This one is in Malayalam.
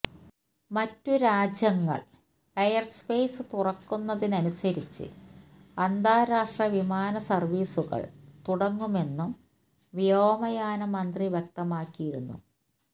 മറ്റ് രാജ്യങ്ങള് എയര്സ്പെയ്സ് തുറക്കുന്നതിനനുസരിച്ച് അന്താരാഷ്ട്ര വിമാന സര്വീസുകള് തുടങ്ങുമെന്നും വ്യോമയാന മന്ത്രി വ്യക്തമാക്കിയിരുന്നു